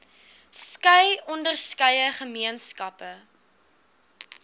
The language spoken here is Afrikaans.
skei onderskeie gemeenskappe